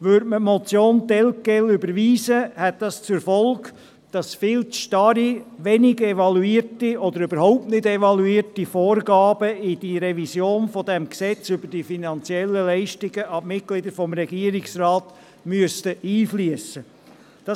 Würde man die Motion telquel überweisen, hätte dies zur Folge, dass viel zu starre, wenig oder überhaupt nicht evaluierte Vorgaben in die Revision des Gesetzes über die finanziellen Leistungen an die Mitglieder des Regierungsrates einfliessen müssten.